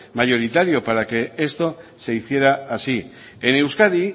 mayoritario para que esto se hiciera así en euskadi